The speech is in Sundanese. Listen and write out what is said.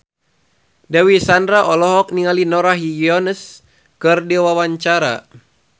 Dewi Sandra olohok ningali Norah Jones keur diwawancara